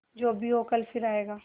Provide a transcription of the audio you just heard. जो भी हो कल फिर आएगा